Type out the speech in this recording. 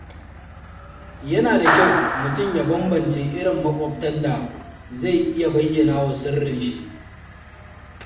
Yana da kyau mutum ya banbance irin maƙwabtan da zai iya bayyanawa sirrinshi.